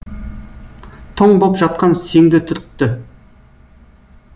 тоң боп жатқан сеңді түртті